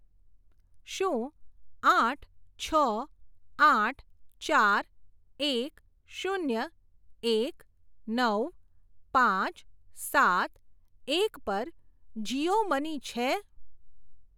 શું આઠ છ આઠ ચાર એક શૂન્ય એક નવ પાંચ સાત એક પર જીઓ મની છે?